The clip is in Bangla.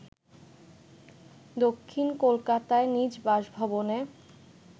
দক্ষিণ কোলকাতায় নিজ বাসভবনে